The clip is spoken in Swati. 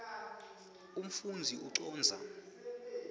umfundzi ucondza